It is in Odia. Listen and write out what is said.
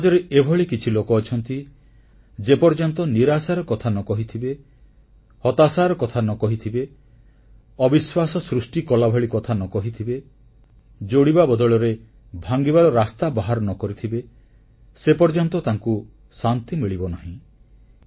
ସମାଜରେ ଏଭଳି କିଛି ଲୋକ ଅଛନ୍ତି ଯେପର୍ଯ୍ୟନ୍ତ ନିରାଶାର କଥା ନ କହିଥିବେ ହତାଶାର କଥା ନ କହିଥିବେ ଅବିଶ୍ୱାସ ସୃଷ୍ଟି କଲାଭଳି କଥା ନ କହିଥିବେ ଯୋଡ଼ିବା ବଦଳରେ ଭାଙ୍ଗିବାର ରାସ୍ତା ବାହାର ନ କରିଥିବେ ସେପର୍ଯ୍ୟନ୍ତ ତାଙ୍କୁ ଶାନ୍ତି ମିଳିବ ନାହିଁ